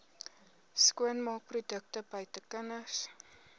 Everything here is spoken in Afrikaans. skoonmaakprodukte buite kinders